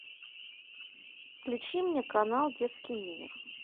включи мне канал детский мир